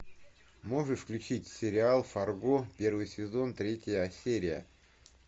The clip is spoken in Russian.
можешь включить сериал фарго первый сезон третья серия